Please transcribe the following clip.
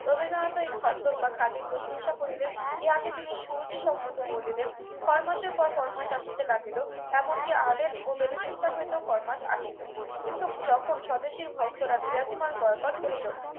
রবীন্দ্রনাথেও এই খদ্দর বা খাদির প্রশংসা করলেন ইহাকে তিনি সুরুচি সম্মত বলিলেন ফর মাসের পর ফরমাস আসিতে লাগলো এমনকি আদেন ও বেলুচিস্তান হইতেও ফরমাস আসিল কিন্তু যখন স্বদেশীর ভক্তরা বিলাতি মাল বয়কট করিল